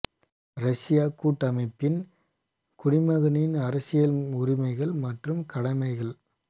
ரஷ்ய கூட்டமைப்பின் குடிமகனின் அரசியல் உரிமைகள் மற்றும் கடமைகள்